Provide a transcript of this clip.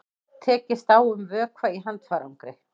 Tekist á um vökva í handfarangri